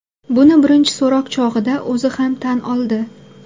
Buni birinchi so‘roq chog‘ida o‘zi ham tan oldi.